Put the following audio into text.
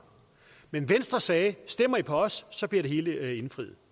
men venstre sagde stemmer i på os bliver det hele indfriet